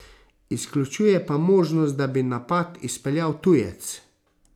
Izključuje pa možnost, da bi napad izpeljal tujec.